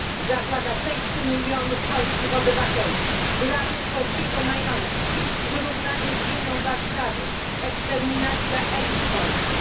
Zagłada 6 milionów polskich obywateli, grabież polskiego majątku, zrównanie z ziemią Warszawy, eksterminacja elit polskich.